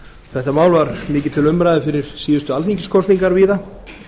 þetta mál var mikið til umræðu fyrir síðustu alþingiskosningar víða